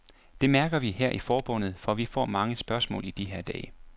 Det mærker vi her i forbundet, for vi får mange spørgsmål i de her dage.